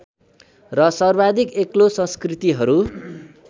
र सर्वाधिक एक्लो संस्कृतिहरू